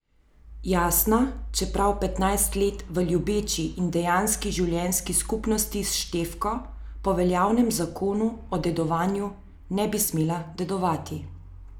Jasna, čeprav petnajst let v ljubeči in dejanski življenjski skupnosti s Štefko, po veljavnem zakonu o dedovanju, ne bi smela dedovati.